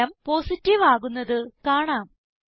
ഫലം പോസിറ്റീവ് ആകുന്നത് കാണാം